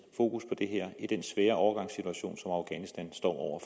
fokus på det her i den svære overgangssituation som afghanistan står